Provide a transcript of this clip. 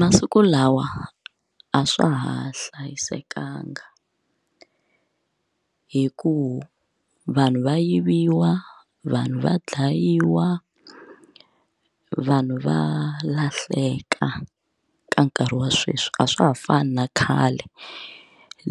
Masiku lawa a swa ha hlayisekanga hikuva vanhu va yiviwa, vanhu va dlayiwa, vanhu va lahleka ka nkarhi wa sweswi a swa ha fani na khale